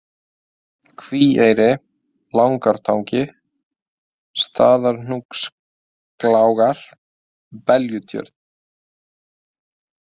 Kvíeyri, Lagnartangi, Staðarhnúkslágar, Beljutjörn